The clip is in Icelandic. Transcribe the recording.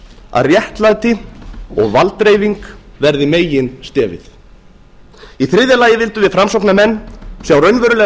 að réttlæti og valddreifing verði meginstefið í þriðja lagi öllum við framsóknarmenn sjá raunverulegar